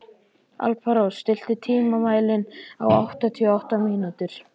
Alparós, stilltu tímamælinn á áttatíu og átta mínútur.